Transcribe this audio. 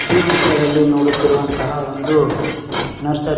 ಈ ಚಿತ್ರದಲ್ಲಿ ನೋಡುತ್ತಿರುವಂತಹ ಒಂದು ನರ್ಸರಿ .